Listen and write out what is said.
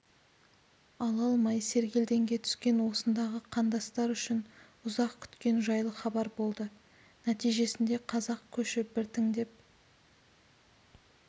ала алмай сергелдеңге түскен осындағы қандастар үшін ұзақ күткен жайлы хабар болды нәтижесінде қазақ көші біртіндеп